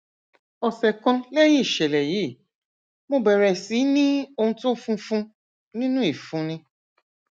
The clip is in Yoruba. ọsẹ kan lẹyìn ìṣẹlẹ yìí mo bẹrẹ sí ní ohun tó funfun nínú ìfunni